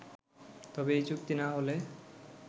তবে এই চুক্তি না হলে